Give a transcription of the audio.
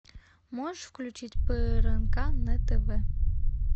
можешь включить прнк на тв